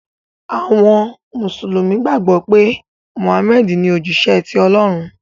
àwọn mùsùlùmí gbàgbó pé Muhammad ní òjíṣẹ tí Olórun.